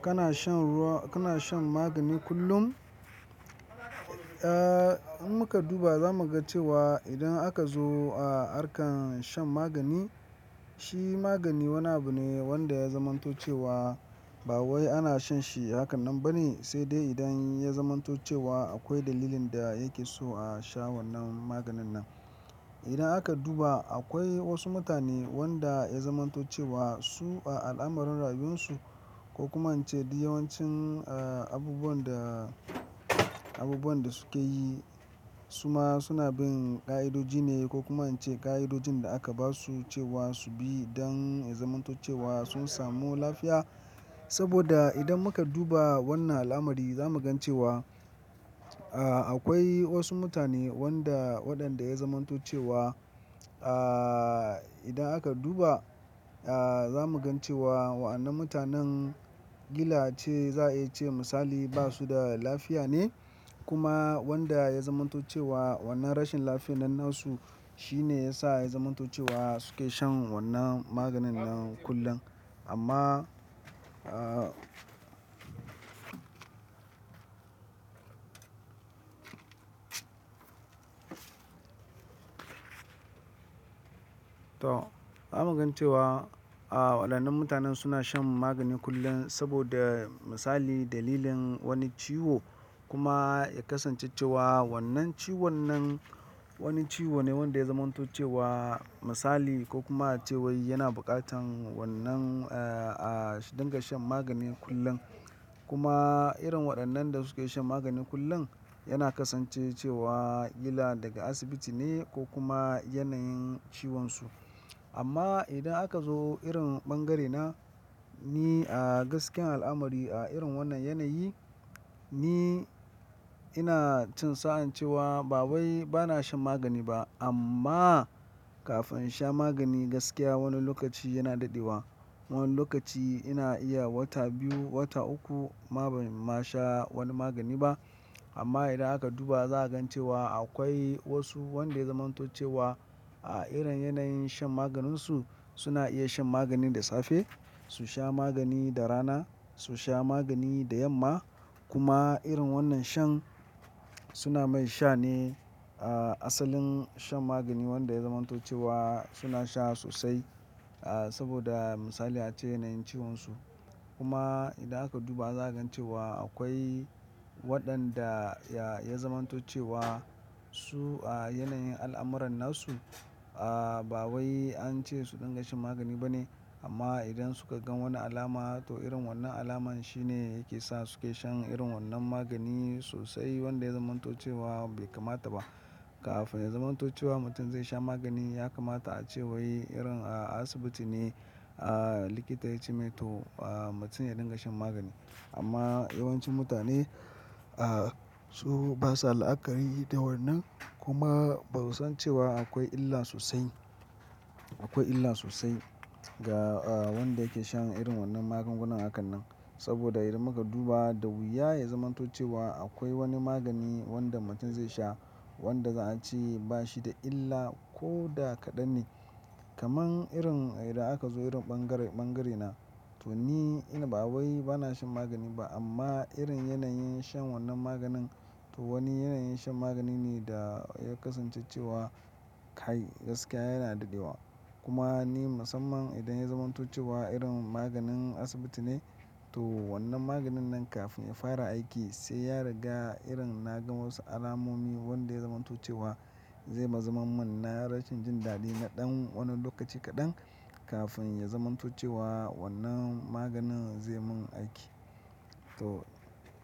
Kana shan ruwa-- kana shan magani kullum? Eh, in muka duba zamu ga cewa idan aka zo a arkan shan magani, shi magani wani abu ne wanda ya zamanto cewa ba wai ana shan shi hakanan bane sai dai idan ya zamanto cewa akwai dalilin da yake so a sha wannan maganin nan. Idan aka duba akwai wasu mutane wanda ya zamanto cewa su a al'amuran rayuwarsu ko kuma in ce duk yawancin, eh, abubuwan da, abubuwan da suke yi suma suna bin ƙa'idoji ne ko kuma an ce ƙa'idojin da aka ba su cewa su bi don ya zamanto cewa sun samu lafiya. Saboda idan muka duba wannan al'amari za mu gan cewa, eh, akwai wasu mutane wanda waɗanda ya zamanto cewa, ah, idan aka duba, ah, za mu gan cewa wannan mutanen kila ace za a iya ce misali basu da lafiya ne kuma wanda ya zamanto cewa wannan rashin lafiya nan na su shine yasa ya zamanto cewa suke shan wannan maganin nan kullum. Amma, ah, to za mu gan cewa, ah, waɗannan mutanen suna shan magani kullum saboda misali dalilin wani ciwo kuma ya kasance cewa wannan ciwon nan wani ciwo ne wanda ya zamanto cewa misali ko kuma ace wai yana buƙatan wannan, eh, ah, su dinga shan magani kullum. Kuma irin waɗannan da suke shan magani kullum yana kasance cewa gila daga asibiti ne ko kuma yanayin ciwonsu. Amma idan aka zo irin bangare na ni a gaskiyar al'amari a irin wannan yanayi, ni ina cin sa'an cewa ba wai bana shan magani ba amma kafin in sha magani gaskiya wani lokaci yana daɗewa. Wani lokaci ina iya wata biyu, wata uku ma ban ma sha wani magani ba. Amma idan aka duba za a gan cewa akwai wasu wanda ya zamanto cewa a irin yanayin shan maganinsu suna iya shan magani da safe, su sha magani da rana, su sha magani da yamma kuma irin wannan shan suna mai sha ne, ah, asalin shan magani wanda ya zamanto cewa suna sha sosai, ah, saboda misali a ce yanayin ciwonsu. Kuma idan aka duba za a gan cewa akwai waɗanda ya zamanto cewa su a yanayin al'amuran na su, ah, ba wai an ce su dinga shan magani ba ne. Amma idan suka gan wani alama to irin wannan alamar shi ne yake sa suke shan irin wannan magani sosai wanda ya zamanto cewa bai kamata ba. Kafin ya zamanto cewa mutum zai sha magani ya kamata a ce wai irin, ah, asibiti ne, ah, likita ya ce mai to, ah, mutum ya dinga shan magani. Amma yawancin mutane, ah, su basa la'akari da wannan kuma ba su san cewa akwai illa sosai. Akwai illa sosai ga, ah, wanda yake shan irin wannan magungunan hakanan. Saboda idan muka duba da wuya ya zamanto cewa akwai wani magani wanda mutum zai sha wanda za a ce ba shi da illa ko da kaɗan ne. Kaman irin idan aka zo irin bangare, bangare na to ni ina ba wai bana shan magani ba amma irin yanayin shan wannan maganin to wani yanayin shan magani ne da ya kasance cewa kai gaskiya yana daɗewa. Kuma ni musamman idan ya zamanto cewa irin maganin asibiti ne to wannan maganin nan kafin ya fara aiki sai ya riga irin na gan wasu alamomi wanda ya zamanto cewa zai bazu manna rashin jin daɗi na ɗan wani lokaci kaɗan kafin ya zamanto cewa wannan maganin zai mun aiki. To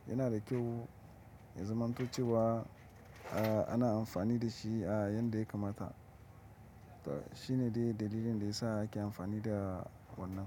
yana da kyau ya zamanto cewa, ah, ana amfani da shi a yadda ya kamata. To shine dai dalilin da yasa ake amfani da wannan.